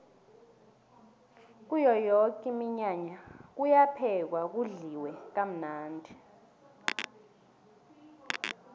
kuyo yoke iminyanya kuyaphekwa kudliwe kamnandi